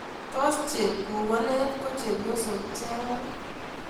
Tos chepkukonet ko chepyosok ichegei?